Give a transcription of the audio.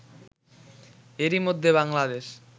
এরই মধ্যে বাংলাদেশ